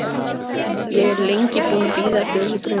Ég er lengi búinn að bíða eftir þessu bréfi.